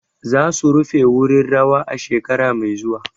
Za su rufe wurin rawa a shekara mai zuwa.